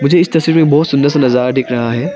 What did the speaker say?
मुझे इस तस्वीर में बहुत सुंदर सा नजारा दिख रहा है।